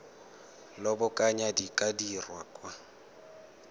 lobakanyana di ka dirwa kwa